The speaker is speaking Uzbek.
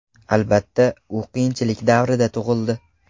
Albatta, u qiyinchilik davrida tug‘ildi.